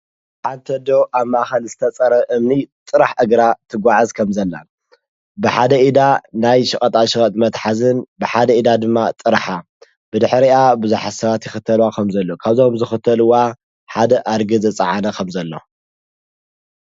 ብሓንተ ደዉ ኣብ ማእኸል ዝተጸረ እምኒ ጥራሕ እግራ ትጐዓዝ ከም ዘላን ብሓደ ኢዳ ናይ ሽቐጣሽቐጥ መትሓዝን ብሓደ ኢዳ ድማ ጥራኃ ብድኅሪኣ ብዙሓሰባት ይኽተልዋ ኸምዘሎ ካብዞም ዝኽተልዋ ሓደ ኣርጊ ዘፀዓነ ኸምዘሎ።